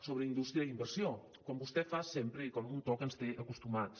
sobre indústria i inversió com vostè fa sempre i amb un to a què ens té acostumats